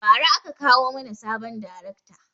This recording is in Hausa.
Ba ra aka kawo mana sabon darekta